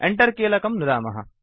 Enter कीलकं नुदामः